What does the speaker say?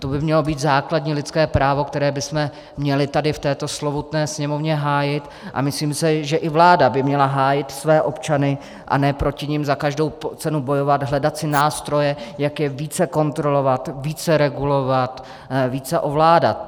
To by mělo být základní lidské právo, které bychom měli tady v této slovutné Sněmovně hájit, a myslím si, že i vláda by měla hájit své občany, a ne proti nim za každou cenu bojovat, hledat si nástroje, jak je více kontrolovat, více regulovat, více ovládat.